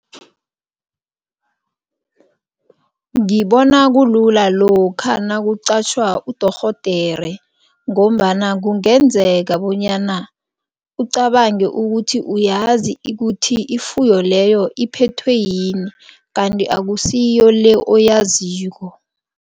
Ngibona kulula lokha nakuqatjhwa udorhodere ngombana kungenzeka bonyana ucabange ukuthi uyazi ukuthi ifuyo leyo iphethwe yini kanti akusiyo le oyaziko.